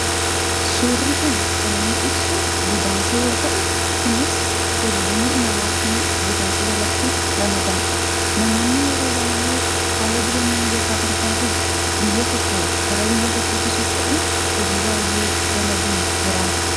suurri kun kan inni ibsu godaansa yoo ta'u kunis tuurizimii ,imalaa fi godaansa jalatti ramadama namoonni yeroo baay'ee haala jireenya mijataa barbaaduuf biyya tokko gara biyya tokkotti socha'uun hojii baay'ee dalaguun jiraatu